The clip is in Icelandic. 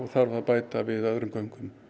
þarf að bæta við öðrum göngum